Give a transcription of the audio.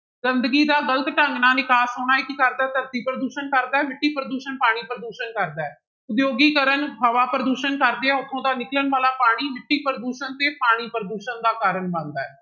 ਗੰਦਗੀ ਦਾ ਗ਼ਲਤ ਢੰਗ ਨਾਲ ਨਿਕਾਸ ਹੋਣਾ ਇਹ ਕੀ ਕਰਦਾ ਹੈ ਧਰਤੀ ਪ੍ਰਦੂਸ਼ਣ ਕਰਦਾ ਹੈ ਮਿੱਟੀ ਪ੍ਰਦੂਸ਼ਣ ਪਾਣੀ ਪ੍ਰਦੂਸ਼ਣ ਕਰਦਾ ਹੈ, ਉਦਯੋਗੀਕਰਨ ਹਵਾ ਪ੍ਰਦੂਸ਼ਣ ਕਰਦੇ ਆ ਉੱਥੋਂ ਦਾ ਨਿਕਲਣ ਵਾਲਾ ਪਾਣੀ ਮਿੱਟੀ ਪ੍ਰਦੂਸ਼ਣ ਤੇ ਪਾਣੀ ਪ੍ਰਦੂਸ਼ਣ ਦਾ ਕਾਰਨ ਬਣਦਾ ਹੈ।